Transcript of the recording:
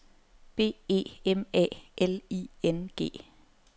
B E M A L I N G